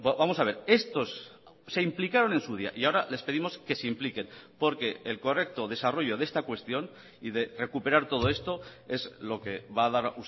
vamos a ver estos se implicaron en su día y ahora les pedimos que se impliquen porque el correcto desarrollo de esta cuestión y de recuperar todo esto es lo que va a dar